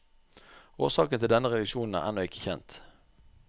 Årsaken til denne reduksjon er ennå ikke kjent.